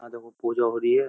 आ देखो पूजा हो रही है।